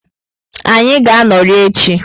Anyị ga-anọrị echi.